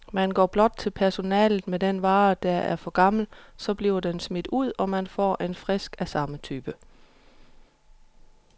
Man går blot til personalet med den vare, der er for gammel, så bliver den smidt ud, og man får en frisk af samme type.